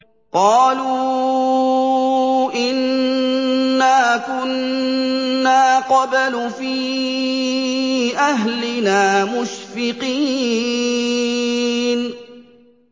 قَالُوا إِنَّا كُنَّا قَبْلُ فِي أَهْلِنَا مُشْفِقِينَ